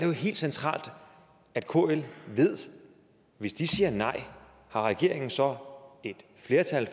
jo helt centralt at kl ved at hvis de siger nej har regeringen så et flertal